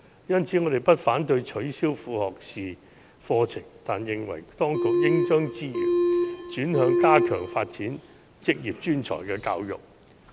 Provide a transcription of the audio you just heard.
因此，我們不反對取消副學士課程，但認為當局應將資源轉向加強發展職業專才教育。